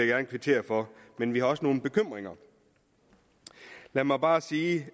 gerne kvittere for men vi har også nogle bekymringer lad mig bare sige